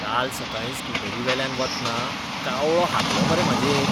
काल सकाळीं स्कूटरीवेल्यान वतना कावळो हागलो मरे म्हाजेर.